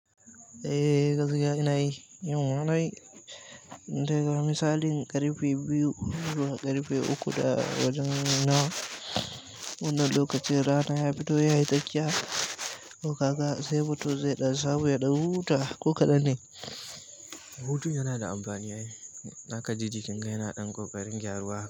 Eh gaskiya yana yi. Yimana yi. Daga misalin ƙarfe biyu, ƙarfe uku da dawajan nawa, wannan lokaci rana ya fito yayi tsakiya, toka ga sai mutum zai da samu ɗan huta ko kaɗan ne. Hutun yana da amfani ai. Zakaji jikinka yana ɗan ko ƙarin gyaruwa haka.